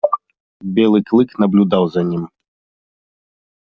белый клык наблюдал за ним